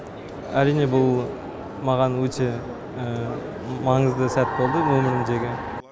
әрине бұл маған өте маңызды сәт болды өмірімдегі